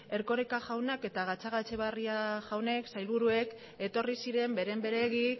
erkoreka eta gatzagaetxebarria jaunek sailburuek etorri ziren beren beregi